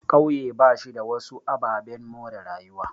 Ƙauye bashi da wasu ababen more rayuwa.